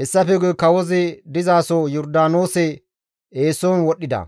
Hessafe guye kawozi dizaso Yordaanoose eeson wodhdhida.